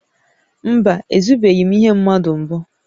Mba, ezubeghị m ihe mmadụ mbụ